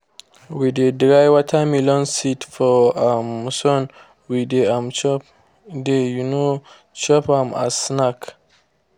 we de dry watermelon seed for um sun we de um chop de um chop am as snack.